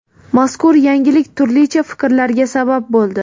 Mazkur yangilik turlicha fikrlarga sabab bo‘ldi.